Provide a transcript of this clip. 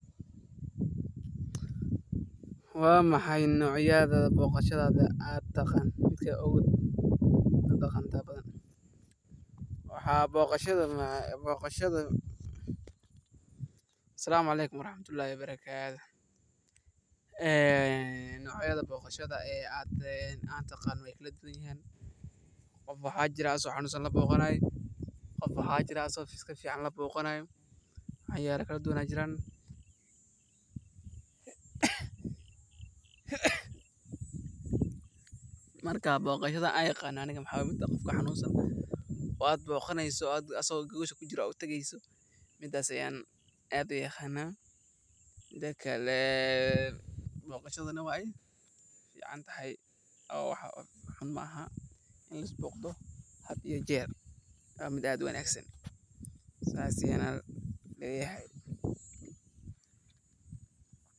Waxaan jeclaan lahaa inaan ku sharxo noocyada kala duwan ee boqoshaada ee aan soo arkay, sida boqosta casriga ah ee lagu cuno goor kasta, boqosta qadiimiga ah ee dhadhan macaan leh, boqosta xawaash leh ee lagu darsado caleemo iyo xawaaj, boqosta burcadka ah ee ku xidhan dhadhan gaar ah, boqosta tamarta badan ee loo isticmaalo marka lagu jiro xilliyado gaarka ah, boqosta bislaawe ee aan lahayn dhadhan gaar ah, boqosta la isku daray macmacaan iyo khudaar, boqosta la kariyey siyaabo kala duwan sida shiil, dubis, ama foorno, boqosta la qasay ee dhadhan fiican, boqosta la rujiyey ee loo isticmaalo in badan.